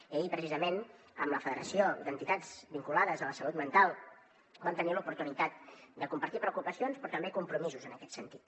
i ahir precisament amb la federació d’entitats vinculades a la salut mental vam tenir l’oportunitat de compartir preocupacions però també compromisos en aquest sentit